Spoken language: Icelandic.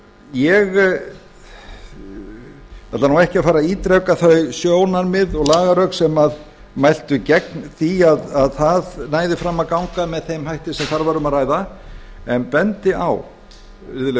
ég ætla ekki að fara að ítreka þau sjónarmið og lagarök sem mæltu gegn því að það næði fram að ganga með þeim hætti sem þar var um að ræða en bendi á virðulegi